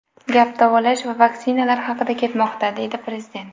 Gap davolash va vaksinalar haqida ketmoqda”, deydi prezident.